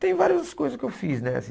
Tem várias coisas que eu fiz, né? Assim